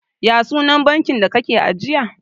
ya sunan bankin da kake ajiya?